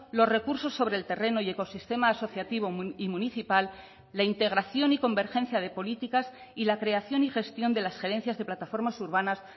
los recursos sobre el terreno y ecosistema asociativo y municipal la integración y convergencia de políticas y la creación y gestión de las gerencias de plataformas urbanas